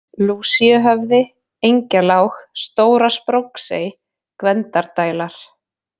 Lúsíuhöfði, Engjalág, Stóra-Spróksey, Gvendardælar